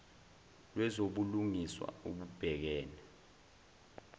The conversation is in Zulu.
lwezobu lungiswa obubhekene